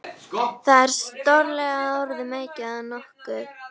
Það er stórlega orðum aukið að nokkuð.